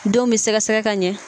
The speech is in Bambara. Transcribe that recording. Denw bɛ sɛgɛsɛgɛ ka ɲɛ